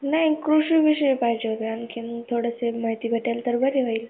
नाही कृषी विषयी पाहिजे होती आणखीन थोडीशी माहिती भेटेल तर बारी होईल.